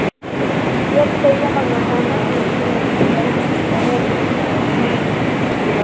Kit ਕਹੀ ਹੁਣ ਉਹਨਾਂ ਨੂੰ ਮੈ ਕਿਹਾ ਹੁਣ ਕਿੱਟ ਭੇਜ। ਮੈ ਕਿਹਾ ਕਿੱਟਾਂ ਲਿਆਂਦੇ ਏਨਾ ਸਾਰਿਆਂ ਨੂੰ।